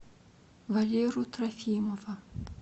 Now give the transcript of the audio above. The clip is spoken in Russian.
валеру трофимова